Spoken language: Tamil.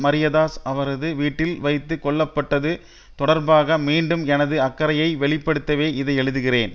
மரியதாஸ் அவரது வீட்டில் வைத்து கொல்ல பட்டது தொடர்பாக மீண்டும் எனது அக்கறையை வெளிப்படுத்தவே இது எழுதுகிறேன்